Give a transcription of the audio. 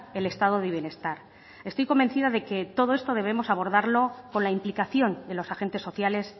el estado de bienestar estoy convencida de que todo esto debemos abordarlo con la implicación de los agentes sociales